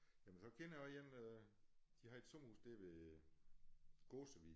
Jamen så kender jeg også én de har et sommerhus der ved Gåsevig